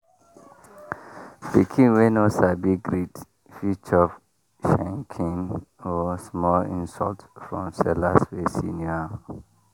pikin wey no sabi greet fit chop shenkin or small insult from sellers wey senior am.